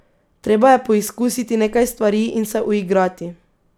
Treba je poizkusiti nekaj stvari in se uigrati.